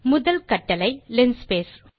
முதல் கட்டளை லின்ஸ்பேஸ்